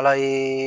Ala ye